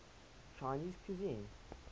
chinese cuisine